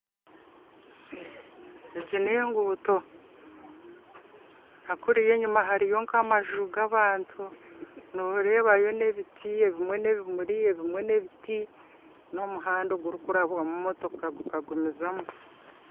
Egi n'enguuto na kuriya enyima hariyo nk'amaju g'abantu noreebayo n'ebiti ebimwe n'ebimuri ebimwe n'ebiti n'omuhanda ogurikurabwamu motoka gukagumizamu